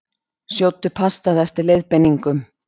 Sjóddu pastað eftir leiðbeiningum.